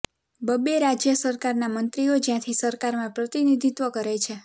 બબ્બે રાજય સરકારના મંત્રીઓ જ્યાંથી સરકારમાં પ્રતિનિધિત્વ કરે છે